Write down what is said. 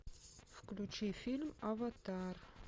включи фильм аватар